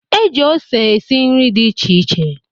E ji ose esi nri dị iche